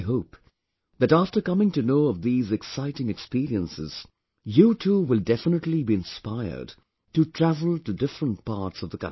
I hope that after coming to know of these exciting experiences, you too will definitely be inspired to travel to different parts of the country